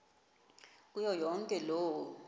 kuyo yonke loo